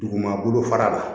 Duguma bolofara la